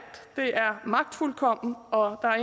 det er magtfuldkomment og der er